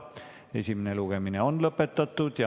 Esimene lugemine on lõpetatud.